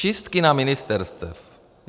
Čistky na ministerstvech.